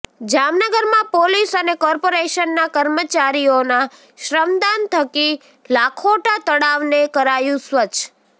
જામનગરમાં પોલીસ અને કોર્પોરેશનના કર્મચારીઓના શ્રમદાન થકી લાખોટા તળાવને કરાયું સ્વચ્છ